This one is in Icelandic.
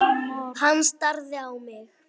Hann starði á mig.